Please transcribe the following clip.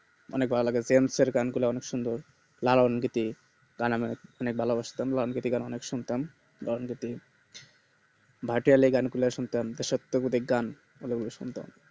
মানে জেমস আর গান গুলা অনেক সুন্দর লালন ধুতি গান নেক ভালোবাসতাম লালন ধুতি গান অনেক শুনতাম লালন ধুতি ভাটিয়ালি গান গুলো শুনতাম দেশাত্ব বোধক গান ওগুলো শুনতাম